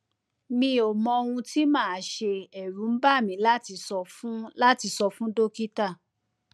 mi ò mọ ohun tí màá ṣe ẹrù ń bà mí láti sọ fún láti sọ fún dókítà